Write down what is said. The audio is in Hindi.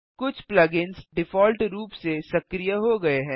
कुछ प्लग इन्स डिफ़ॉल्ट रूप से सक्रिय हो गये हैं